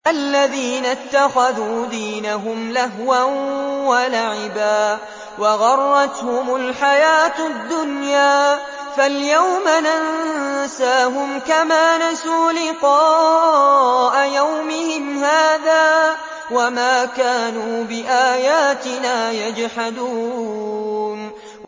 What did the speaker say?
الَّذِينَ اتَّخَذُوا دِينَهُمْ لَهْوًا وَلَعِبًا وَغَرَّتْهُمُ الْحَيَاةُ الدُّنْيَا ۚ فَالْيَوْمَ نَنسَاهُمْ كَمَا نَسُوا لِقَاءَ يَوْمِهِمْ هَٰذَا وَمَا كَانُوا بِآيَاتِنَا يَجْحَدُونَ